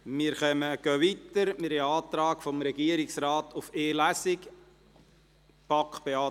Seitens des Regierungsrates liegt ein Antrag auf die Durchführung von nur einer Lesung vor.